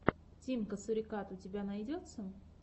тимка сурикат у тебя найдется